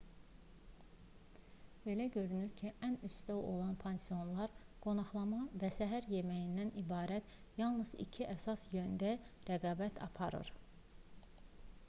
belə görünür ki ən üstdə olan pansionlar qonaqlama və səhər yeməyindən ibarət yalnız iki əsas yöndə rəqabət aparır